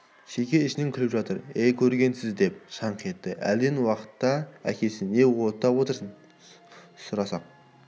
шеге ішінен күліп жатыр әй көргенсіз деп шаңқ етті әлден уақытта әкесі не оттап отырсың сұрасақ